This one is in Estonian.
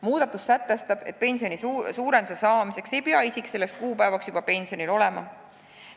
Muudatus sätestab, et pensioni suurendamise õiguse saamiseks ei pea isik selleks kuupäevaks juba pensionil olema.